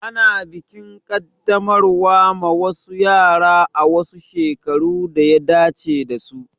Ana bikin Kaddamarwa ma wasu yara a wasu shekaru daya dace dasu